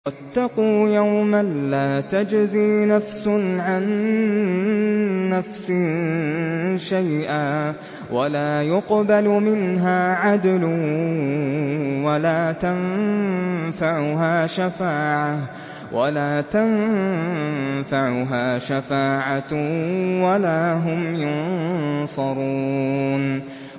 وَاتَّقُوا يَوْمًا لَّا تَجْزِي نَفْسٌ عَن نَّفْسٍ شَيْئًا وَلَا يُقْبَلُ مِنْهَا عَدْلٌ وَلَا تَنفَعُهَا شَفَاعَةٌ وَلَا هُمْ يُنصَرُونَ